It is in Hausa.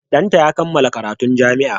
Ɗanta ya kammala karatun jami'a.